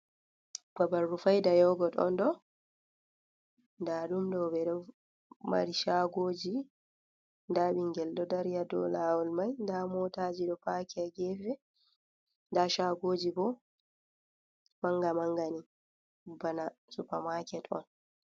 Babal rufaida yogot on ɗo nda ɗum ɗo ɓe ɗo mari shagoji, nda ɓingel ɗo dari ha dou lawol mai, nda motaji ɗo pakia ha gefe, nda shagoji bo manga manga ni bana super maket on.